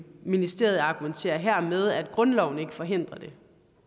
ministeriet argumenterer her med at grundloven ikke forhindrer det